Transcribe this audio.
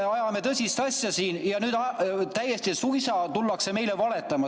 Me ajame tõsist asja siin ja nüüd suisa tullakse meile valetama.